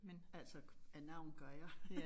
Altså af navn gør jeg